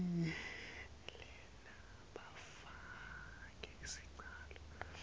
lona lofake sicelo